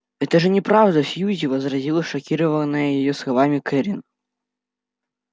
это же неправда сьюзи возразила шокированная её словами кэррин